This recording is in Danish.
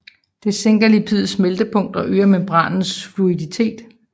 Dette sænker lipidets smeltepunkt og øger membranens fluiditet